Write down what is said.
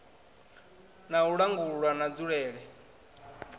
na u langulwa na nzulele